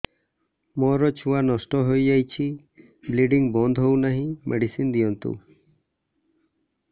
ମୋର ଛୁଆ ନଷ୍ଟ ହୋଇଯାଇଛି ବ୍ଲିଡ଼ିଙ୍ଗ ବନ୍ଦ ହଉନାହିଁ ମେଡିସିନ ଦିଅନ୍ତୁ